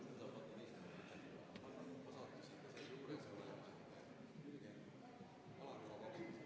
Me oleme esimese päevakorrapunkti, 398 OE juures.